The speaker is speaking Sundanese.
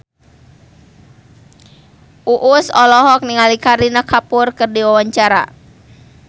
Uus olohok ningali Kareena Kapoor keur diwawancara